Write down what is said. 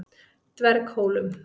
Dverghólum